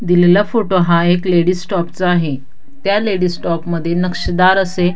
दिलेला फोटो हा एक लेडीज स्टोक चा आहे त्या लेडीज स्टोकमध्ये नक्षीदार असे --